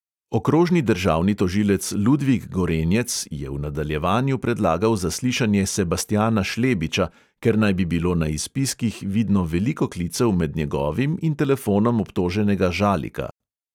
Okrožni državni tožilec ludvik gorenjec je v nadaljevanju predlagal zaslišanje sebastjana šlebiča, ker naj bi bilo na izpiskih vidno veliko klicev med njegovim in telefonom obtoženega žalika.